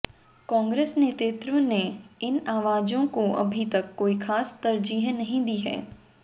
कांग्रेस नेतृत्व ने इन आवाजों को अभी तक कोई खास तरजीह नहीं दी है